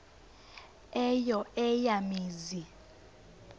eyo eya mizi